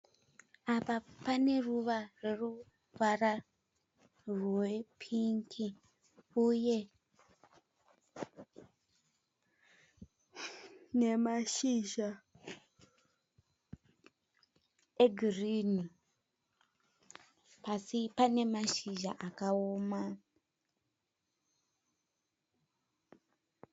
Apa pane ruva rwe ruvara rwe pingi uye nemashizha e girinhi. Pasi pane mashizha akaoma.